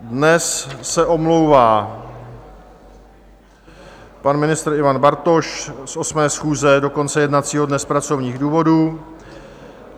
Dnes se omlouvá pan ministr Ivan Bartoš z 8. schůze do konce jednacího dne z pracovních důvodů.